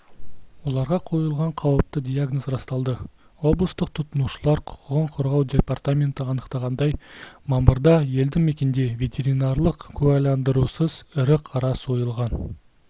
оларға қойылған қауіпті диагноз расталды облыстық тұтынушылар құқығын қорғау департаменті анықтағандай мамырда елді мекенде ветеринарлық куәландырусыз ірі қара сойылған